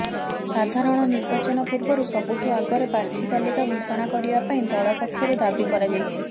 ସାଧାରଣ ନିର୍ବାଚନ ପୂର୍ବରୁ ସବୁଠୁ ଆଗରେ ପ୍ରାର୍ଥି ତାଲିକା ଘୋଷଣା କରିବା ପାଇଁ ଦଳ ପକ୍ଷରୁ ଦାବି କରାଯାଇଛି